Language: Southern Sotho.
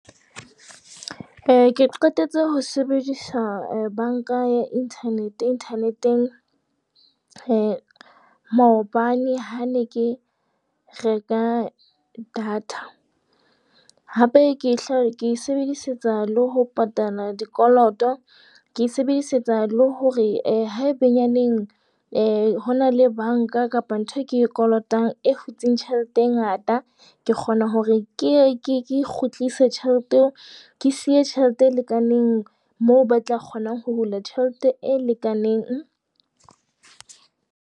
Eh ke qetetse ho sebedisa banka ya internet internet-ng maobane ha ne ke reka data. Hape ke ke e sebedisetsa le ho patala dikoloto. Ke e sebedisetsa le hore eh haebenyaneng eh ho na le banka kapa ntho e ke e kolotang e hutseng tjhelete e ngata ke kgona hore ke ye ke kgutlise tjhelete eo, ke siye tjhelete e lekaneng moo ba tla kgona ho hula tjhelete e lekaneng.